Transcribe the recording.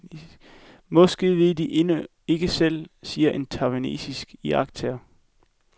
Måske ved de det endnu ikke selv, siger en taiwanesisk iagttager.